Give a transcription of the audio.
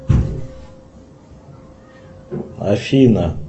афина